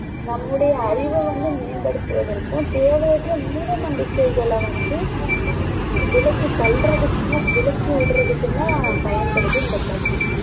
நம்முடைய அறிவ வந்து மேம்படுத்துவதற்கும் தேவையற்ற மூட நம்பிக்கைகள வந்து விளக்கி தள்றதுகும் விலக்கி விடுறதுக்கும் தான் பயன்படுது இந்த கல்வி